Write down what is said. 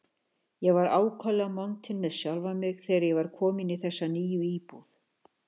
Ég var ákaflega montinn með sjálfan mig, þegar ég var kominn í þessa nýju íbúð.